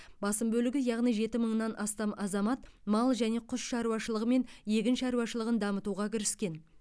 басым бөлігі яғни жеті мыңнан астам азамат мал және құс шаруашылы мен егін шаруашылығын дамытуға кіріскен